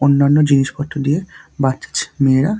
অন্যান্য জিনিসপত্র দিয়ে বাছ ছ মেয়েরা--